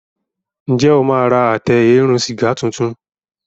Njé o ma rà Àtẹ eérún sìgá títún?